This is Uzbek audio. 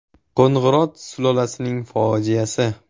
Qo‘ng‘irot sulolasining fojiasi.